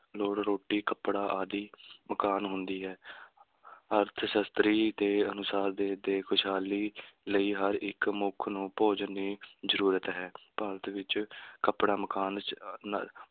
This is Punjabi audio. ਲੋੜ ਰੋਟੀ, ਕੱਪੜਾ ਆਦਿ ਮਕਾਨ ਹੁੰਦੀ ਹੈ ਅਰਥਸ਼ਾਸਤਰੀ ਦੇ ਅਨੁਸਾਰ ਦੇਸ਼ ਦੇ ਖੁਸ਼ਹਾਲੀ ਲਈ ਹਰ ਇੱਕ ਮਨੁੱਖ ਨੂੰ ਭੋਜਨ ਦੀ ਜ਼ਰੂ੍ਰਤ ਹੈ ਭਾਰਤ ਵਿੱਚ ਕੱਪੜਾ ਮਕਾਨ